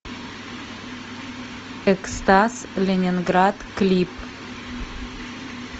экстаз ленинград клип